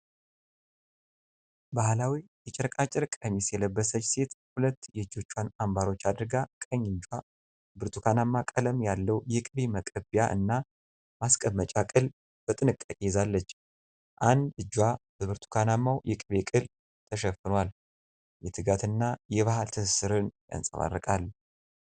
ባህላዊ የጨርቃጨርቅ ቀሚስ የለበሰች ሴት ሁለት የእጇን አንባሮች አድርጋ ቀኝ እጇ ብርቱካናማ ቀለም ያለው የቅቤ መቀቢያ እና ማስቀመጫ ቅል በጥንቃቄ ይዛለች። አንድ እጇበብርቱካናማው የቅቤ ቅል ተሸፍኗል፣ የትጋትንና የባህል ትስስርን ያንጸባርቃል።